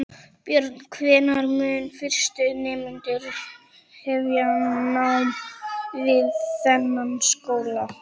Björn: Hvenær munu fyrstu nemendur hefja nám við þennan skóla?